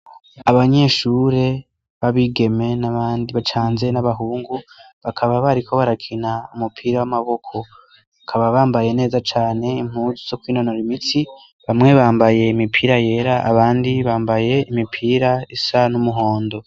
Abanyeshure b'abigeme n'abandi bacanze n'abahungu bakaba bariko barakina umupira w'amaboko akaba bambaye neza cane impuzu zo kw'inonura imitsi bamwe bambaye imipira yera abandi bambaye imipira isa n'umuhondo.